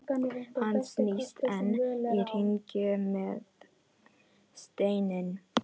Hann snýst enn í hringi með steininn.